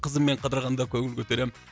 қызыммен қыдырғанда көңіл көтеремін